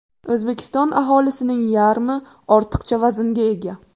O‘zbekiston aholisining yarmi ortiqcha vaznga ega.